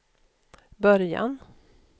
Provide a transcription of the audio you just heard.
början